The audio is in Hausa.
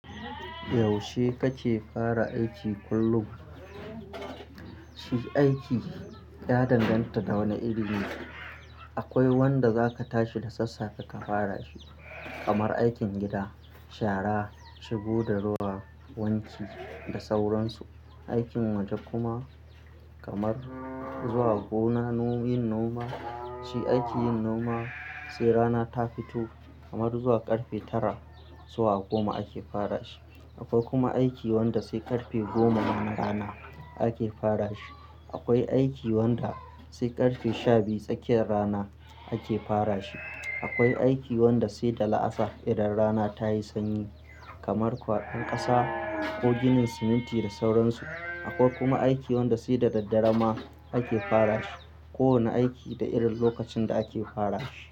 Yaushe kake fara aiki kullum? Shi aiki ya danganta da wane iri ne. Akwai wanda zaka tashi da sassafe ka fara shi, kamar aikin gida, shara, shigo da ruwa, wanki da sauran su. Aikin waje kuma kamar zuwa gona yin noma. Shi aikin noma sai rana ta fito kamar zuwa ƙarfe tara zuwa goma ake fara shi. Akwai kuma aiki wanda sai ƙarfe goma na rana ake fara shi. Akwai aiki wanda sai ƙarfe sha biyu tsakiyar rana ake fara shi. Akwai aiki wanda sai da la'asar idan rana ta yi sanyi kamar kwaban ƙasa ko ginin siminti da sauran su. Akwai kuma aiki wanda sai da daddare ma ake fara shi. Kowane aiki da irin lokacin da ake fara shi.